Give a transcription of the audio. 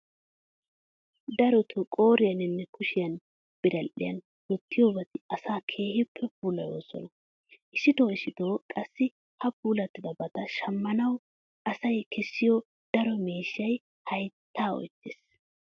Darotoo qooriyaninne kushiya biral"iyan wottiyobati asaa keehippe puulayoosona. Issitoo issitoo qassi ha puulattiyobata shammanawu asay kessiyo daro miishshay hayttaa oyttees.